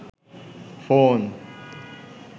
phone